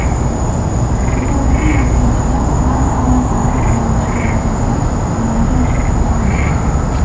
Tasodifiy o‘zgarishlar kvant holatlari aylanishi yordamida amalga oshirib borildi.